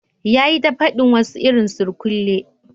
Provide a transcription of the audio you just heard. Ya yi ta fadin wasu irin surkulle